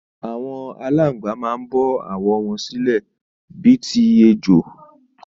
Àwọn Àláǹgbá man bọ́ àwọ̀ wọn sílẹ̀ bi ti ejò